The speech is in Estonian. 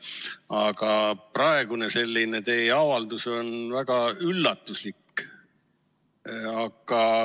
Aga teie praegune avaldus on väga üllatuslik.